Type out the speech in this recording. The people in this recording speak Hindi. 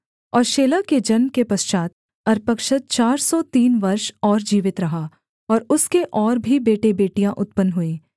और शेलह के जन्म के पश्चात् अर्पक्षद चार सौ तीन वर्ष और जीवित रहा और उसके और भी बेटेबेटियाँ उत्पन्न हुईं